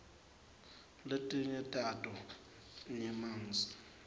letinye tato nyemangs